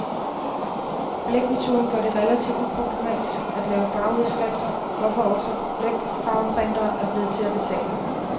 Blækmetoden gør det relativt uproblematisk at lave farveudskrifter, hvorfor også blækfarveprintere er blevet til at betale.